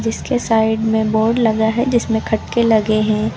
इसके साइड में बोर्ड लगा है जिसमें खटके लगे हैं।